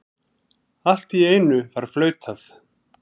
Allt í einu var flautað.